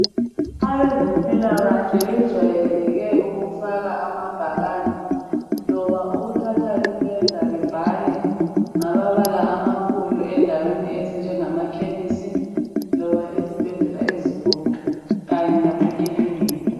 Abezempilalakahle bejwayeleke ukufaka amabhakani loba ukuthatha ipenda bebhale ngamabala amakhulu endaweni ezinjengamakhemesi loba ezibhedlela ezinkulu kanye lemakilinika